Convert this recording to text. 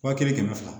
Wa kelen kɛmɛ fila